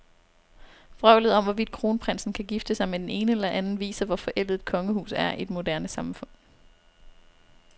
Vrøvlet om, hvorvidt kronprinsen kan gifte sig med den ene eller den anden, viser, hvor forældet et kongehus er i et moderne samfund.